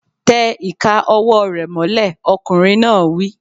Tẹ ìka ọwọ́ rẹ̀ mọ́lẹ̀! Ọkùnrin náà wí.